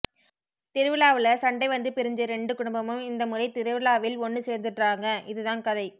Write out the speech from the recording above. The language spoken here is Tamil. திருவிழாவுல சண்டை வந்து பிரிஞ்ச ரெண்டு குடும்பமும் இந்த முறை திருவிழாவில் ஒண்ணு சேர்ந்துடறாங்க இதுதான் கதை